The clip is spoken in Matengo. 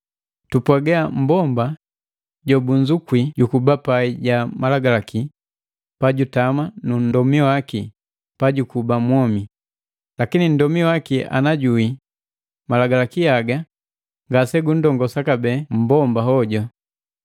Tupwaga, mmbomba jobunzukwi jukuba pai ja Malagalaki pajutama nu nndomi waki pajukuba mwomi, lakini nndomi waki ana juwii, Malagalaki haga ngasegundongosa kabee mmbomba hoju.